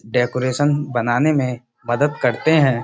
Decoration बनाने में मदद करते हैं।